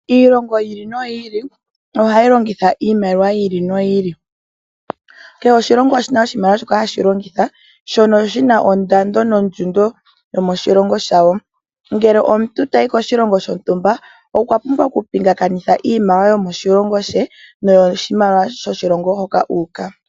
Iilongo yiili noyili ohayi longitha iimaliwa yiili noyili . Kehe oshilongo oshina oshimaliwa shoka hashi longitha shono ondando nondjundo yomoshilongo shayo. Ngele omuntu tayi koshilongo shontumba, okwa pumbwa okupingakanitha iimaliwa she niimaliwa yoshilongo shoka uuka.